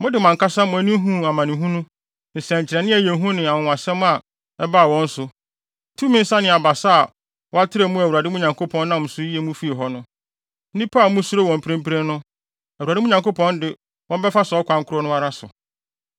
Mode mo ankasa mo ani huu amanehunu, nsɛnkyerɛnne a ɛyɛ hu ne anwonwasɛm a ɛbaa wɔn so, tumi nsa ne abasa a wɔatrɛw mu a Awurade, mo Nyankopɔn, nam so yii mo fii hɔ no. Nnipa a musuro wɔn mprempren no, Awurade Nyankopɔn de wɔn bɛfa saa ɔkwan koro no ara so.